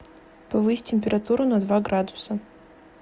повысь температуру на два градуса